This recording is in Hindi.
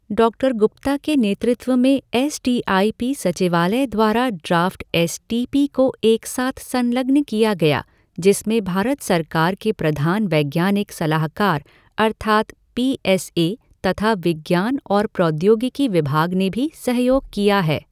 डॉक्टर गुप्ता के नेतृत्व में एस टी आई पी सचिवालय द्वारा ड्राफ़्ट एस टी पी को एक साथ संलग्न किया गया, जिसमें भारत सरकार के प्रधान वैज्ञानिक सलाहकार अर्थात पी एस ए तथा विज्ञान और प्रौद्योगिकी विभाग ने भी सहयोग किया है।